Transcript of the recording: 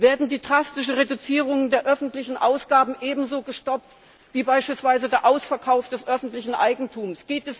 Werden die drastischen Reduzierungen der öffentlichen Ausgaben ebenso gestoppt wie beispielsweise der Ausverkauf des öffentlichen Eigentums?